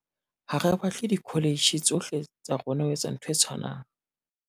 "Ha re batle dikholetjhe tsohle tsa rona ho etsa ntho e tshwanang."